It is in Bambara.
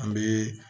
An bɛ